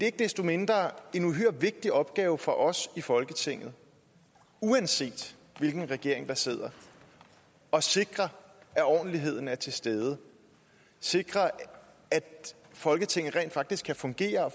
ikke desto mindre en uhyre vigtig opgave for os i folketinget uanset hvilken regering der sidder at sikre at ordentligheden er til stede sikre at folketinget rent faktisk kan fungere og